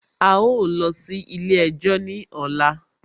A ó lọ sí ilé ẹjọ́ ní ọ̀la